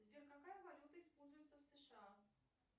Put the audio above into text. сбер какая валюта используется в сша